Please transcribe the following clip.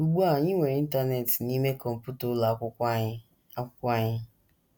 Ugbu a, anyị nwere Internet n’ime kọmputa ụlọ akwụkwọ anyị akwụkwọ anyị!